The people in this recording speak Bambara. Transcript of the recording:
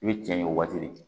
I bɛ cɛn yen o waati de